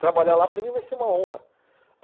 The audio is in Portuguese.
Trabalhar lá para mim vai ser uma honra.